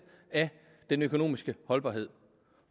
af den økonomiske holdbarhed